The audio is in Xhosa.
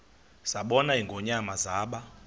zabona ingonyama zaba